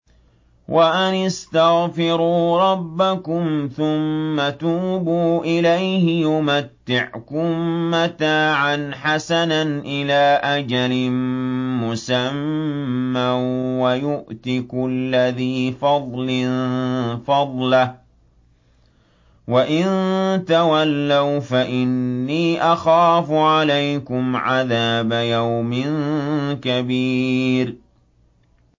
وَأَنِ اسْتَغْفِرُوا رَبَّكُمْ ثُمَّ تُوبُوا إِلَيْهِ يُمَتِّعْكُم مَّتَاعًا حَسَنًا إِلَىٰ أَجَلٍ مُّسَمًّى وَيُؤْتِ كُلَّ ذِي فَضْلٍ فَضْلَهُ ۖ وَإِن تَوَلَّوْا فَإِنِّي أَخَافُ عَلَيْكُمْ عَذَابَ يَوْمٍ كَبِيرٍ